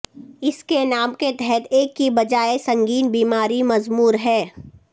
اس نام کے تحت ایک کی بجائے سنگین بیماری مضمر ہے